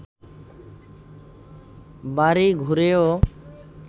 বাড়ি ঘুরেও